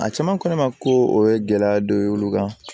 A caman ko ne ma ko o ye gɛlɛya dɔ ye olu kan